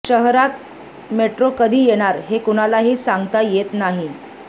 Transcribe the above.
शहरात मेट्रो कधी येणार हे कुणालाही सांगता येत नाही